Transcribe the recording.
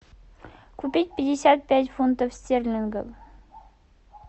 купить пятьдесят пять фунтов стерлингов